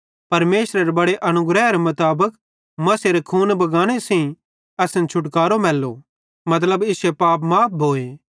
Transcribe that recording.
परमेशरेरे बड़े अनुग्रहेरे मुताबिक मसीहेरे खूने बगाने सेइं असन छुटकारो मैल्लो मतलब इश्शे पाप माफ़ भोए